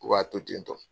U b'a to ten